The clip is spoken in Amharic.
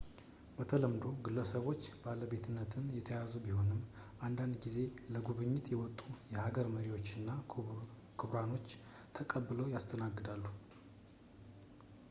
በተለምዶው በግለሰቦች ባለቤትነት የተያዙ ቢሆንም አንዳንድ ጊዜ ለጉብኝት የመጡ የሀገር መሪዎችና ክቡራኖችን ተቀብለው ያስተናግዳሉ